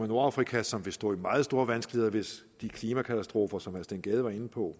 nordafrika som vil stå i meget store vanskeligheder hvis de klimakatastrofer som herre steen gade var inde på